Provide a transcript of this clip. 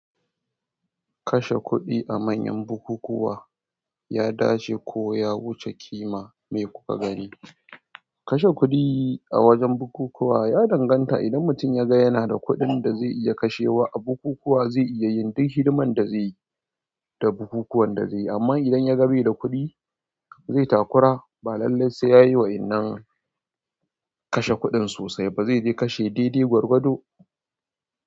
Kashe kuɗi a manyan bukukuwa ya dace ko ya wuce ƙima me kuka gani? Kashe kuɗi a wajen bukukuwa ya danganta idan mutum ya ga yana da kuɗin da zai iya kashewa a bukukuwa zai iya yin duk hidiman da zaiyi da bukukuwan da zaiyi amma idan yaga bai da kuɗi zai takura ba lallai sai yayi wa'innan kashe kuɗin sosai ba zai de kashe daidai gwargwado.